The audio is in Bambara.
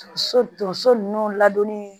So tonso nunnu ladonni